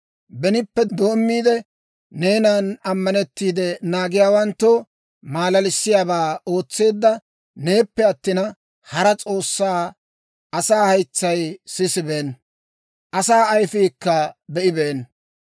Benippe doommiide, neenan ammanettiide, naagiyaawanttoo maalalissiyaabaa ootseedda neeppe attina, hara S'oossaa asaa haytsay sisibeenna; asaa ayifiikka be'ibeenna.